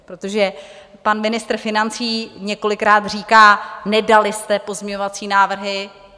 Protože pan ministr financí několikrát říkal: Nedali jste pozměňovací návrhy.